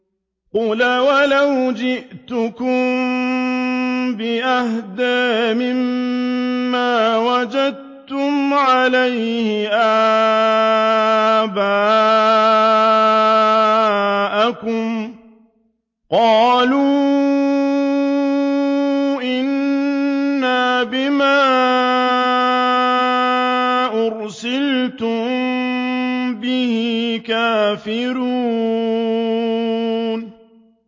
۞ قَالَ أَوَلَوْ جِئْتُكُم بِأَهْدَىٰ مِمَّا وَجَدتُّمْ عَلَيْهِ آبَاءَكُمْ ۖ قَالُوا إِنَّا بِمَا أُرْسِلْتُم بِهِ كَافِرُونَ